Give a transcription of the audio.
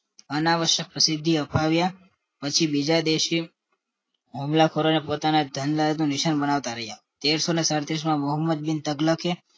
અન આવશ્યક પ્રસિદ્ધિ અપાવીયા પછી બીજા દેશે હુમલાખોરોને પોતાના ધન દલાત ને નિશાન બનાવતા રહ્યા તેરસો સાળતીરસ માં મોહમ્મદિન